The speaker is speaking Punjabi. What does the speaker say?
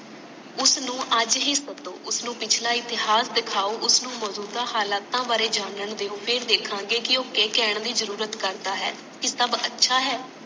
ਉਸਨੂੰ ਅੱਜ ਹੀ ਸਦੋ ਉਸਨੂੰ ਪਿਛਲਾ ਇਤਿਹਾਸ ਦਿਖਾਓ ਉਸਨੂੰ ਮਜੂਦਾਂ ਹਾਲਾਤਾਂ ਵਾਰੇ ਜਾਨਣ ਦਿਓ ਫੇਰ ਦੇਖਾਂਗੇ ਕਿ ਉਹ ਕਿ ਕਹਿਣ ਦੀ ਜਰੂਰਤ ਕਰਦਾ ਹੈ ਕਿ ਸਬ ਅੱਛਾ ਹੈ